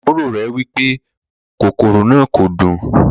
Àbúrò rẹ wipe kòkòrò náà kò dùn.